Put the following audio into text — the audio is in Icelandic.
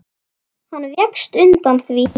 Hann vékst undan því.